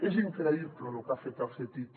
és increïble lo que ha fet el ctti